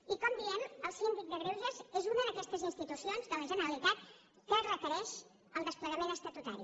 i com diem el síndic de greuges és una d’aquestes institucions de la generalitat que requereix el desplegament estatutari